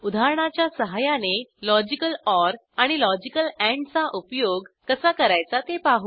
उदाहरणाच्या सहाय्याने logical or आणि लॉजिकल एंड चा उपयोग कसा करायचा ते पाहू